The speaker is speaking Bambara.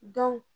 Dɔn